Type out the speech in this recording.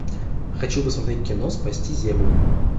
хочу посмотреть кино спасти землю